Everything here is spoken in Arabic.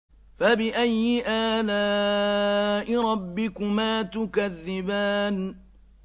فَبِأَيِّ آلَاءِ رَبِّكُمَا تُكَذِّبَانِ